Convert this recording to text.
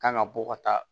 Kan ka bɔ ka taa